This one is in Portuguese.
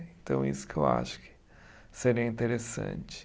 Então é isso que eu acho que seria interessante.